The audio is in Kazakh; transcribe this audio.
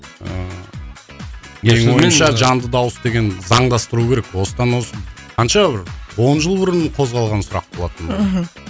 ыыы менің ойымша жанды дауыс деген заңдастыру керек осыдан осы қанша бір он жыл бұрын қозғалған сұрақ болатын мхм